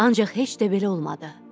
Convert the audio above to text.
Ancaq heç də belə olmadı.